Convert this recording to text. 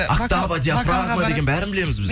октава диафрагма деген бәрін білеміз біз